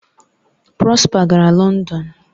Prosper gara London